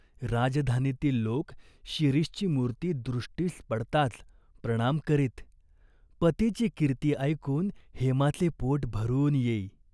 राजधानीतील लोक शिरीषची मूर्ती दृष्टीस पडताच प्रणाम करीत. पतीची कीर्ती ऐकून हेमाचे पोट भरून येई.